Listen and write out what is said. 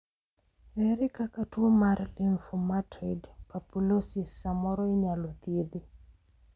ere kaka tuo mar lymphomatoid papulosis samoro inyalo thiedhi?